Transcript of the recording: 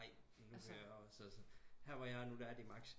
Nej nu kan jeg også her hvor jeg er nu er de maks